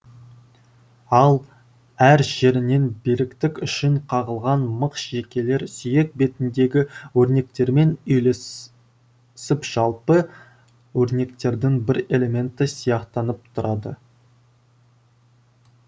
ал әр жерінен беріктік үшін қағылған мық шегелер сүйек бетіндегі өрнектермен үйлесіп жалпы өрнектердің бір элементі сияқтанып тұрады